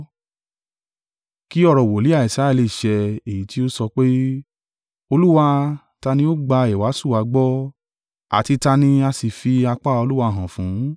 Kí ọ̀rọ̀ wòlíì Isaiah lè ṣẹ, èyí tí ó sọ pé, “Olúwa, ta ni ó gba ìwàásù wa gbọ́ Àti ta ni a sì fi apá Olúwa hàn fún?”